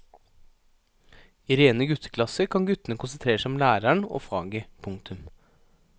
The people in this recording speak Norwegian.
I rene gutteklasser kan guttene konsentrere seg om læreren og faget. punktum